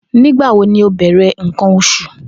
Nigbawo ni o bẹrẹ nkan oṣu?